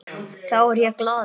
Þá er ég glaður.